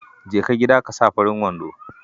Jeka gida ka sa farin wando.